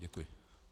Děkuji.